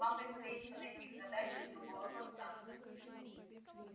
вам предстоит подойти к задаче с другого конца